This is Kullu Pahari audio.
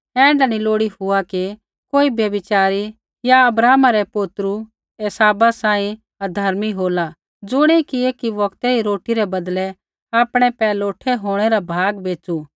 ऐण्ढा नी लोड़ी हुआ कि कोई व्यभिचारी या अब्राहमा रै पोतै एसावा सांही अधर्मी होला ज़ुणियै कि एकी बौगतै री रोटी रै बदलै आपणै पैहलौठै होंणै रा भाग बेच़ू